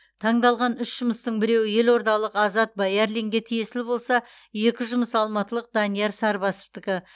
таңдалған үш жұмыстың біреуі елордалық азат баярлинге тиесілі болса екі жұмыс алматылық данияр сарбасовтікі